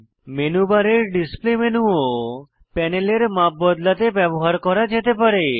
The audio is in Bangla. মেনু বারের ডিসপ্লে মেনু ও প্যানেলের মাপ বদলাতে ব্যবহার করা যেতে পারে